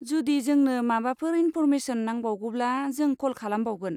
जुदि जोंनो माबाफोर इन्फ'र्मेसन नांबावगौब्ला, जों कल खालामबावगोन।